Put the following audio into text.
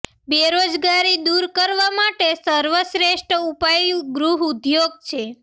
બેરોજગારી દૂર કરવા માટે સર્વશ્રેષ્ઠ ઉપાય ગૃહ ઉદ્યોગ છે